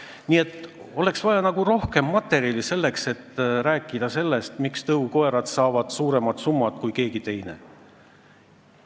Nii et oleks vaja rohkem materjali, selleks et rääkida, miks saavad tõukoerad suurema summa kui keegi teine.